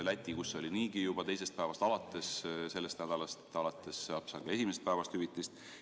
Lätis oli see niigi juba teisest päevast alates, sellest nädalast alates saab seal esimesest päevast hüvitist.